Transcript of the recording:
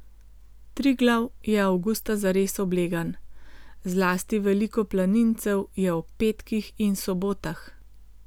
Triglav je avgusta zares oblegan, zlasti veliko planincev je ob petkih in sobotah.